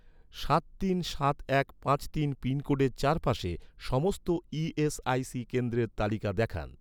সাত তিন সাত এক পাঁচ তিন পিনকোডের চারপাশে, সমস্ত ই.এস.আই.সি কেন্দ্রের তালিকা দেখান